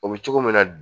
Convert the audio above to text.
O bɛ cogo min na